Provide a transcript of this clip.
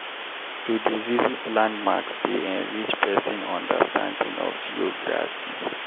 To dey visit landmarks dey enrich pesin understanding of geography.